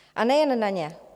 A nejen na ně.